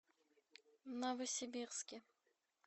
новосибирске